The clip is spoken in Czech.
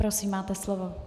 Prosím, máte slovo.